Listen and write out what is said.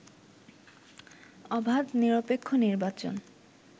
অবাধ নিরপেক্ষ নির্বাচন